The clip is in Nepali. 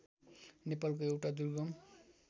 नेपालको एउटा दुर्गम